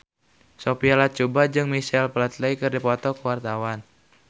Sophia Latjuba jeung Michael Flatley keur dipoto ku wartawan